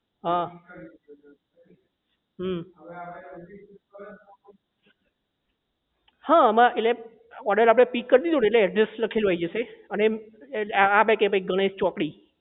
હા હમ હા આમાં એટલે order આપણે pick કરી દીધો ને એટલે address લખેલું આઈ જશે અને એટલે આ કહે ભાઈ ગણેશ ચોકડી